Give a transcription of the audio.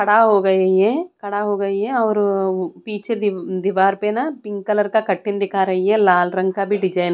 खड़ा हो गई है खड़ा हो गई है और पीछे दी दीवार पे ना पिंक कलर का कर्टेन दिखा रही है लाल रंग का भी डिज़ाइन --